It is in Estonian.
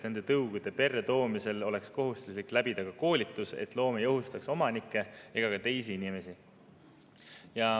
Nende koerte perre toomisel oleks kohustuslik läbida koolitus, et loom ei ohustaks omanikke ega ka teisi inimesi.